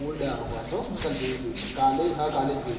old આવે પાછો મેં કાલે જોઉં હતું એટલે કાલે હા કાલે જ જોયું હતું.